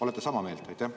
Olete sama meelt?